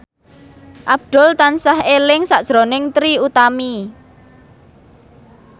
Abdul tansah eling sakjroning Trie Utami